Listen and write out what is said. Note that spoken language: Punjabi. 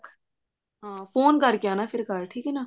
ਹਾਂ phone ਕਰਕੇ ਆਉਣਾ ਘਰ ਠੀਕ ਹੈ ਨਾ